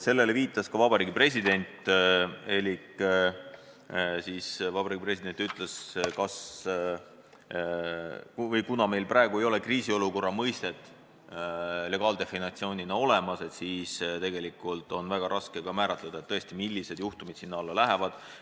Sellele viitas ka Vabariigi President elik Vabariigi President ütles, et kuna meil praegu ei ole kriisiolukorra mõistet legaaldefinitsioonina olemas, siis on väga raske määratleda, millised juhtumid sinna alla lähevad.